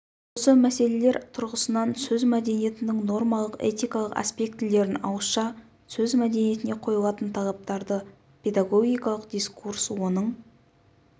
осы мәселелер тұрғысынан сөз мәдениетінің нормалық этикалық аспектілерін ауызша сөз мәдениетіне қойылатын талаптарды педагогикалық дискурс оның